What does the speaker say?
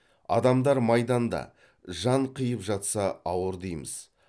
адамдар майданда жан қиып жатса ауыр дейміз